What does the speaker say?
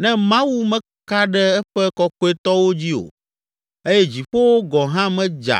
Ne Mawu meka ɖe eƒe kɔkɔetɔwo dzi o eye dziƒowo gɔ̃ hã medza